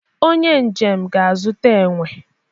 onye njem ga-azụta enwe